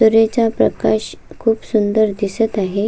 सूर्याचा प्रकाश खूप सुंदर दिसत आहे.